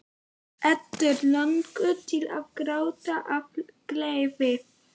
Eddu langar til að gráta af gleði.